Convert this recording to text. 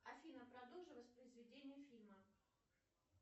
афина продолжи воспроизведение фильма